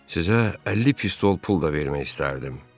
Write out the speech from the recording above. Sizə 50 pistol pul da vermək istərdim.